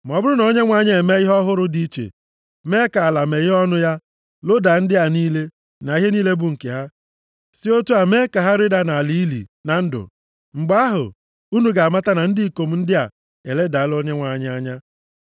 Ma ọ bụrụ na Onyenwe anyị emee ihe ọhụrụ dị iche, mee ka ala meghee ọnụ ya, lodaa ndị a niile, na ihe niile bụ nke ha, si otu a mee ka ha rịda nʼala ili na ndụ, mgbe ahụ, unu ga-amata na ndị ikom ndị a eledala Onyenwe anyị anya.”